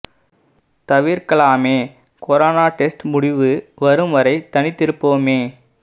தவிர்க்கலாமே corona test முடிவு வரும் வரை தனித்திருப்போமே